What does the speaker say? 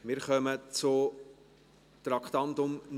Wir kommen zum Traktandum 69.